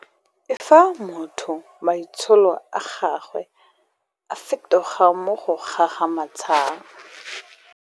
E fa motho maitsholo a gagwe a fetoga mo go gagamatsang.